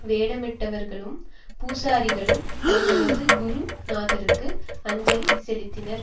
வேடமிட்டவர்களும் பூசாரிகளும் தங்களது குரு நாதருக்கு அஞ்சலி செலுத்தினர்